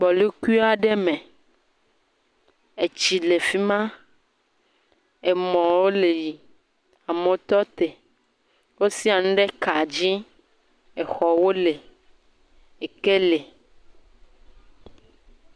Gbɔlukui aɖe me, etsi le fi ma, emɔwo le yi, amewo tɔ te, wosia nu ɖe ka dzi, exɔwo le, eke le.